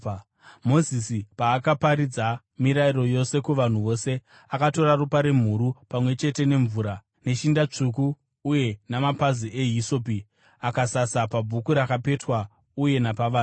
Mozisi paakaparidza mirayiro yose kuvanhu vose, akatora ropa remhuru, pamwe chete nemvura, neshinda tsvuku uye namapazi ehisopi, akasasa pabhuku rakapetwa uye napavanhu.